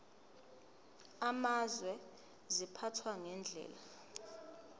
amazwe ziphathwa ngendlela